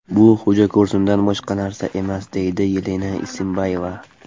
Bu xo‘jako‘rsindan boshqa narsa emas”, deydi Yelena Isinbayeva.